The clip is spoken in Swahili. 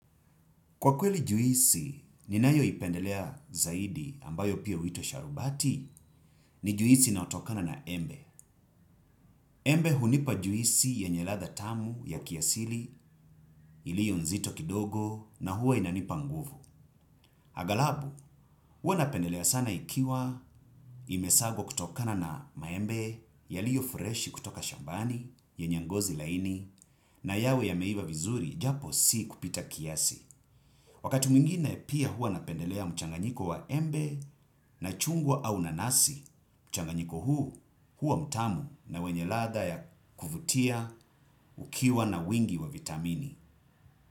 Kwa kweli juisi, ninayo ipendelea zaidi ambayo pia witwa sharubati ni juisi na yotokana na embe. Embe hunipa juisi yenye ladha tamu ya kiasili ilio nzito kidogo na huwa inanipa nguvu. Agalabu, huwa napendelea sana ikiwa imesagwa kutokana na maembe ya liyo fureshi kutoka shambani yenye ngozi laini na yawe ya meiva vizuri japo si kupita kiasi. Wakati mwingine pia hua napendelea mchanganyiko wa embe na chungwa au nanasi, mchanganyiko huu hua mtamu na wenye latha ya kufutia ukiwa na wingi wa vitamini.